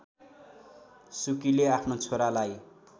सुकीले आफ्नो छोरालाई